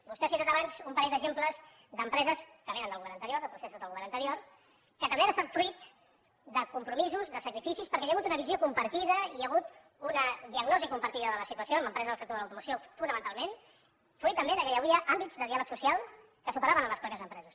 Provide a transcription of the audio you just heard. vostè ha citat abans un parell d’exemples d’empreses que vénen del govern anterior de processos del govern anterior que també han estat fruit de compromisos de sacrificis perquè hi ha hagut una visió compartida hi ha hagut una diagnosi compartida de la situació amb empreses del sector de l’automoció fonamentalment fruit també del fet que hi havia àmbits de diàleg social que superaven les mateixes empreses